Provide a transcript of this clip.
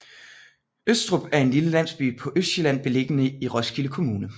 Østrup er en lille landsby på Østsjælland beliggende i Roskilde Kommune